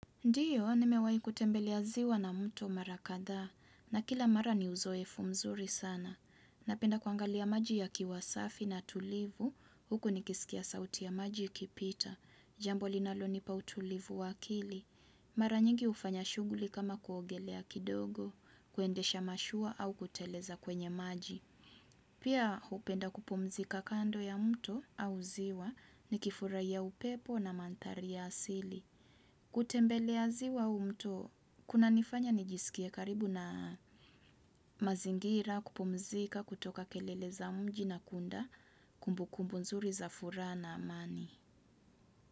Ndio, nimewahi kutembelea ziwa na muto mara kadhaa na kila mara ni uzoefu mzuri sana. Napenda kuangalia maji yakiwa safi na tulivu, huku ni kisikia sauti ya maji kipita. Jambo linalonipa utulivu wakili. Mara nyingi ufanya shughuli kama kuogelea kidogo, kuendesha mashua au kuteleza kwenye maji. Pia upenda kupumzika kando ya mto au ziwa ni kifurai ya upepo na manthari ya asili. Kutembelea ziwa au mto, kunanifanya nijisikia karibu na mazingira, kupumzika, kutoka kelele za mji na kuunda, kumbu kumbu nzuri za furaha na amani.